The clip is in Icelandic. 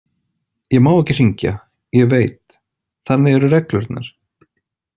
Ég má ekki hringja, ég veit, þannig eru reglurnar.